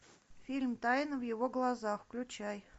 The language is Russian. фильм тайна в его глазах включай